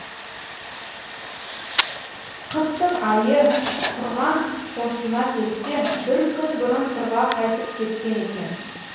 қыстың айы құрған қосына келсе бір күн бұрын сырға қайтып кеткен екен